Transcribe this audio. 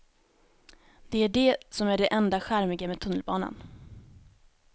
Det är det som är det enda charmiga med tunnelbanan.